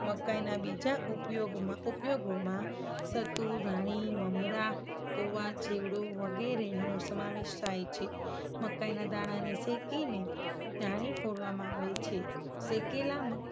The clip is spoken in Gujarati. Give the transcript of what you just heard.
મકાઇના બીજા ઉપયોગમાં, ઉપયોગોમાં સતુ, ધાણી, મમરા, પૌવા, ચેવડો વગેરેનો સમાવેશ થાય છે. મકાઇના દાણાને શેકીને ધાણી ફોડવામાં આવે છે. શેકેલા